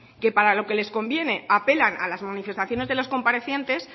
que para lo que les conviene apelan a las manifestaciones de los comparecientes